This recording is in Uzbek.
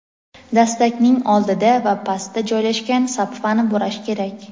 dastakning oldida va pastda joylashgan) sapfani burash kerak.